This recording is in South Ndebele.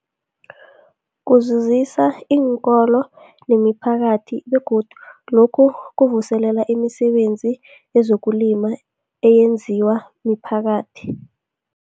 Kuzuzisa iinkolo nemiphakathi begodu lokhu kuvuselela imisebenzi yezokulima eyenziwa miphakathi.